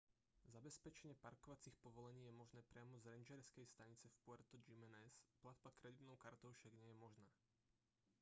zabezpečenie parkovacích povolení je možné priamo z rangerskej stanice v puerto jiménez platba kreditnou kartou však nie je možná